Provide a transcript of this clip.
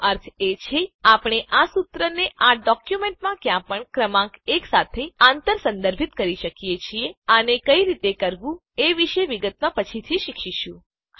એનો અર્થ એ છે કે આપણે આ સુત્રને આ ડોક્યુંમેંટમાં ક્યાંપણ ક્રમાંક 1 સાથે આંતર સંદર્ભિત કરી શકીએ છીએ આને કઈ રીતે કરવું એ વિશે વિગતમાં પછીથી શીખીશું